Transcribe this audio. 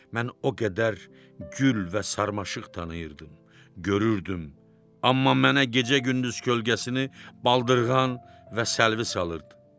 Mən o qədər gül və sarmaşıq tanıyırdım, görürdüm, amma mənə gecə-gündüz kölgəsini baldırğan və səlvi salırdı.